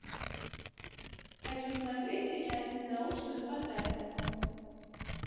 хочу смотреть сейчас ненаучную фантастику